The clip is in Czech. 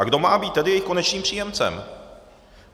A kdo má být tedy jejich konečným příjemcem?